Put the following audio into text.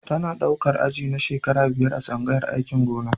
Tana ɗaukar aji na shekara biyar a tsangayar aikin gona.